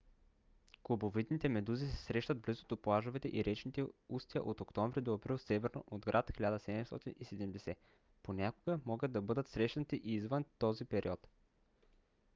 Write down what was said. кубовидните медузи се срещат близо до плажовете и речните устия от октомври до април северно от град 1770. понякога могат да бъдат срещнати и извън този период